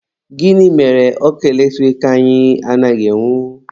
Gịnị mere ọkụ eletrik anyị anaghị enwu?